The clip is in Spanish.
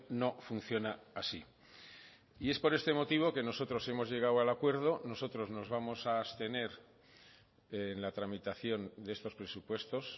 no funciona así y es por este motivo que nosotros hemos llegado al acuerdo nosotros nos vamos a abstener en la tramitación de estos presupuestos